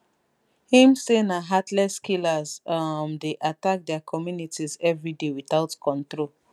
im say na heartless killers um dey attack dia communities evriday without control